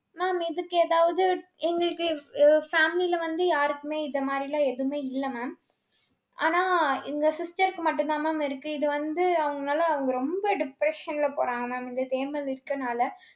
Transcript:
mam இதுக்கு ஏதாவது, எங்களுக்கு உ family ல வந்து, யாருக்குமே, இந்த மாதிரி எல்லாம், எதுவுமே இல்லை mam. ஆனா, எங்க sister க்கு மட்டும்தான், mam இருக்கு. இது வந்து, அவங்கனால, அவங்க ரொம்ப depression ல போறாங்க mam இந்த தேமல் இருக்கனால